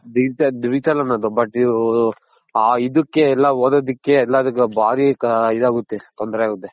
Digital ಅನ್ನೋದು but ಆ ಇದಕ್ಕೆ ಎಲ್ಲಾ ಓದೋದಕ್ಕೆ ಎಲ್ಲದುಕು ಭಾರಿ ಇದಗುತ್ತೆ ತೊಂದ್ರೆ ತೊಂದ್ರೆ ಆಗುತ್ತೆ.